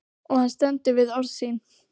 Og hann stendur við orð sín.